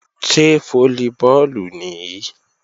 Ṣé fólíbọọ̀lù nìí?